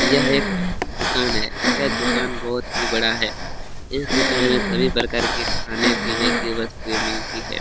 यह एक दुकान है यह दुकान बहोत ही बड़ा है इस दुकान में सभी प्रकार की खाने-पीने की वस्तुए मिलती है।